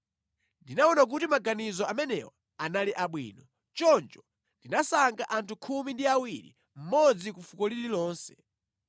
Ndinaona kuti maganizo amenewa anali abwino, choncho ndinasankha anthu khumi ndi awiri, mmodzi ku fuko lililonse.